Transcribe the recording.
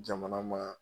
Jamana ma